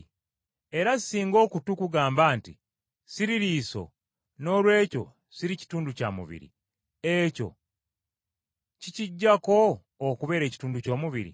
Era singa okutu kugamba nti, “Siri liiso, noolwekyo siri kitundu kya mubiri,” ekyo kikiggyako okubeera ekitundu ky’omubiri?